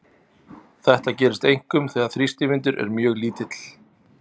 Þetta gerist einkum þegar þrýstivindur er mjög lítill.